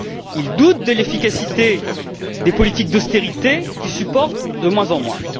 Ils doutent de l'efficacité des politiques d'austérité qu'ils supportent de moins en moins.